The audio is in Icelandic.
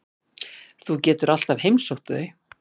Þú getur alltaf heimsótt þau.